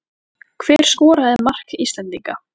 Hver skoraði mark Íslendinga?